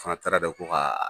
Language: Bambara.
O fana taara da ko ka